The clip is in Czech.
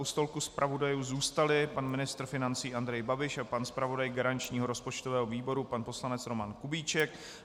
U stolku zpravodajů zůstali pan ministr financí Andrej Babiš a pan zpravodaj garančního rozpočtového výboru, pan poslanec Roman Kubíček.